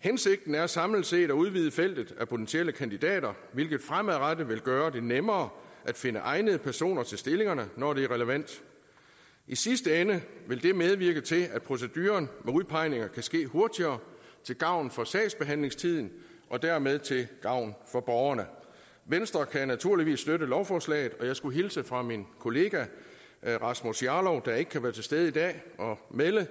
hensigten er samlet set at udvide feltet af potentielle kandidater hvilket fremadrettet vil gøre det nemmere at finde egnede personer til stillingerne når det er relevant i sidste ende vil det medvirke til at proceduren med udpegninger kan ske hurtigere til gavn for sagsbehandlingstiden og dermed til gavn for borgerne venstre kan naturligvis støtte lovforslaget og jeg skulle hilse fra min kollega rasmus jarlov der ikke kan være til stede i dag og melde